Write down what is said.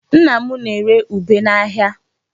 Nna m na-ere ube n'ahịa.